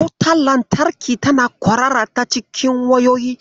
Wutar lantarki tana kwarara ta cikin wayoyi.